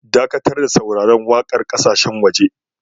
Dakatar da sauraron waƙar ƙasashen waje.